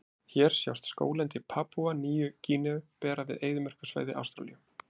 Hér sjást skóglendi Papúa Nýju-Gíneu bera við eyðimerkursvæði Ástralíu.